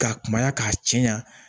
K'a kumaya k'a cɛɲan